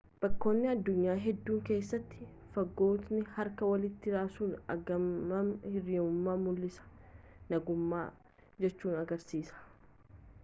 bakkoota addunyaa hedduu keessatti fagooti harka walitti raasuun aggaammii hirriyummaa mul'isa nagumaa jechuu agarsiisa